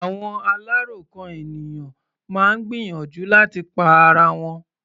Àwọn aláròkàn ènìyàn máa ń gbìyànjú láti pa ara wọn.